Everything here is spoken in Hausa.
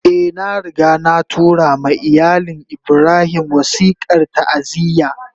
Eh, na riga na tura ma iyalin Ibrahim wasikar ta'aziyya